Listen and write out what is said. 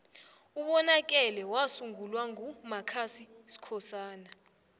ubonakele wasungulwa nqu mascusi skhosana